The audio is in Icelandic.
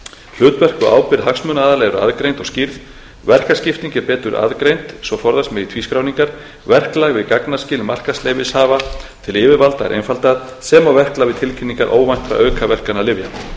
hlutverk og ábyrgð hagsmunaaðila er aðgreind og skýrð verkaskipting er betur aðgreind svo forðast megi tvískráningar verklag við gagnaskil markaðsleyfishafa tilyfirvalda er einfaldað sem og verklag við tilkynningar óvæntra aukaverkana lyfja